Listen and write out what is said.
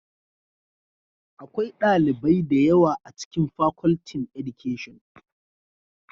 Akwai dalibai da yawa a cikin Facultin Education